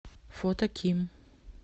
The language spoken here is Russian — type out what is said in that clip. фото ким